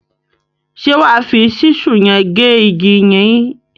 Ṣé wà á fi ṣísù yẹn gé igi yìí lọ́la?